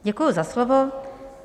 Děkuji za slovo.